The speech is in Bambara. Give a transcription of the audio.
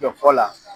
Dɔ fɔ la